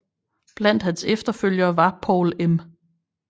Blandt hans efterfølgere var Poul M